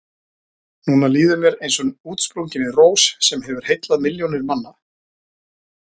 Núna líður mér eins og útsprunginni rós sem hefur heillað milljónir manna.